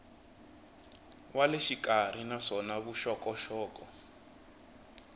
wa le xikarhi naswona vuxokoxoko